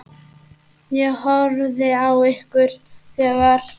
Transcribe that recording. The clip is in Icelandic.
Ég horfði á ykkur þegar.